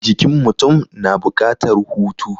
Jikin mutum na buƙatar hutu.